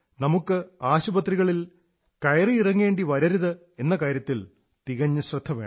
നമുക്ക് ആശുപത്രികളിൽ കയറിയിറങ്ങേണ്ടി വരരുത് എന്ന കാര്യത്തിൽ തികഞ്ഞ ശ്രദ്ധ വേണം